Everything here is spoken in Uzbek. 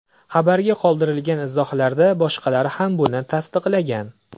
Xabarga qoldirilgan izohlarda boshqalar ham buni tasdiqlagan.